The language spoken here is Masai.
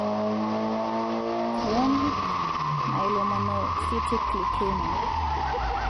Chronic myelomonocytic leukemia (CMML)